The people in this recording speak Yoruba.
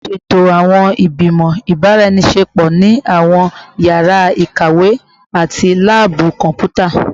Ṣeto awọn igbimọ ibaraenisepo ni awọn yara ikawe ati laabu kọnputa